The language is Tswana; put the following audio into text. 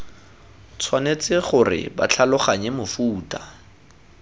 tshwanetse gore ba tlhaloganye mofuta